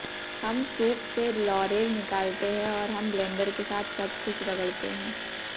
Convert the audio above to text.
हम सूप से लॉरेल निकालते हैं और हम ब्लेंडर के साथ सब कुछ रगड़ते हैं